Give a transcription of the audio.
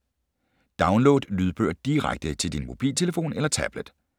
Download lydbøger direkte til din mobiltelefon eller tablet